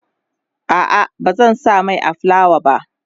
a'a bazan sa Mai a fulawa ba